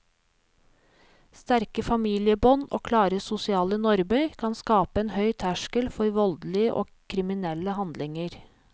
Sterke familiebånd og klare sosiale normer kan skape en høy terskel for voldelige og kriminelle handlinger.